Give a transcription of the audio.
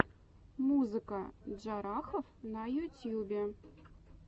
музыка джарахов на ютьюбе